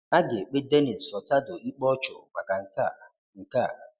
A ga-èkpé Denis Furtado ikpe ọ̀chụ̀ maka nke a. nke a.